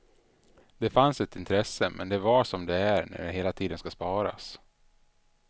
Det fanns ett intresse men det var som det är när det hela tiden skall sparas.